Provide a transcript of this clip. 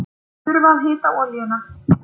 Þurfa að hita olíuna